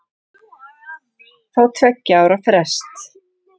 Fá tveggja ára frest